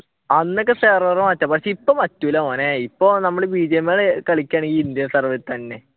അന്നൊക്കെ server മാറ്റാം പക്ഷെ ഇപ്പൊ പറ്റൂല മോനെ ഇപ്പൊ നമ്മൾ bgmi കളിക്കുക ആണെങ്കിൽ indian serveril ഇൽ തന്നെ